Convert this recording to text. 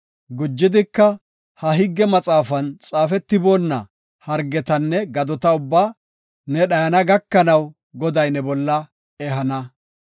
Gujidika, ha higge maxaafan xaafetiboonna hargetanne gadota ubbaa ne dhayana gakanaw Goday ne bolla ehana.